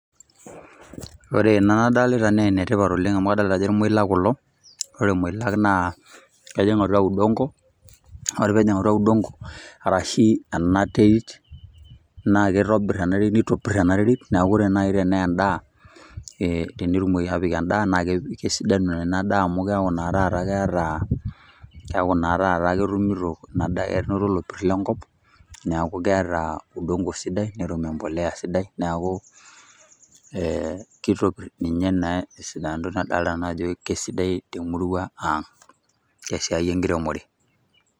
Ore ena nadolita naa ene tipat oleng' amu adolta ajo kermoilak kulo, ore irmoilak naa kejing' atua udongo, ore peejing' atua udongo, arashe ena terit naa kitobir ena terit, nitopir ena terit, neeku ore nai ene ndaa ee tenetumoki apik endaa naake kesidanu ena daa amu keeku naa keeta keeku naa taata enoto lopir lenkop. Neeku keeta udongo sidai netum embolea sidai neeku ee kitopir ninye naa esidano naa nadolta nanu ajo kesidai te murua ang' te siai enkiremore.